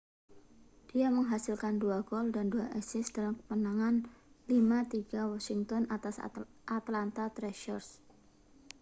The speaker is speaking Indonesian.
dia menghasilkan 2 gol dan 2 assist dalam kemenangan 5 3 washington atas atlanta thrashers